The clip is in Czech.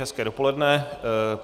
Hezké dopoledne.